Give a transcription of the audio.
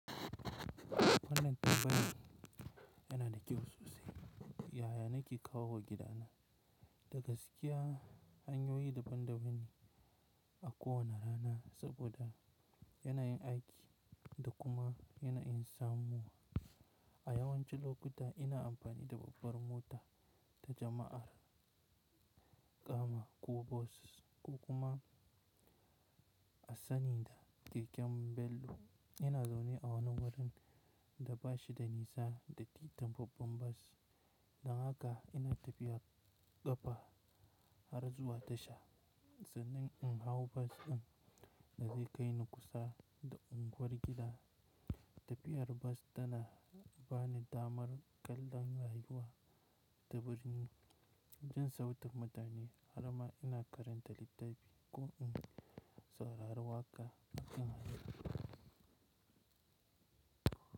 Kalan faifayin yana da kyau sosai. Yaya na ke kawowa gida na. Da gaskiya, hanyoyi daban-daban ako wane rana saboda yana yin aiki da kuma yana yin samu. A yawancin lokuta ina amfani da babbar mota ta jama'a, karama ko bus, Ko kuma a sani da keken Bello. Ina zaune a wani wurin da bashi da nisa da titin babban bus, dan haka ina tafiyan ƙafa har zuwa tasha sannan in hau bus ɗin da zai kai ni kusa da unguwar gida. Tafiyar bus tana ba ni damar kallon rayuwa ta birni jin sautin mutane har ma ina karanta littafi ko in saurari waƙa.